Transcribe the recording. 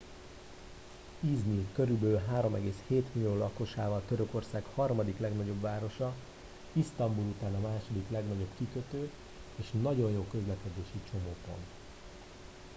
i̇zmir körülbelül 3,7 millió lakosával törökország harmadik legnagyobb városa isztambul után a második legnagyobb kikötő és nagyon jó közlekedési csomópont